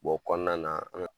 o kɔnɔna an ka